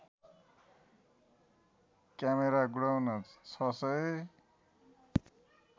camera godown ६००